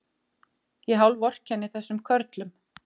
Ég hálfvorkenni þessum körlum.